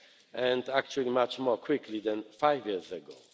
and actually much more quickly than five years ago.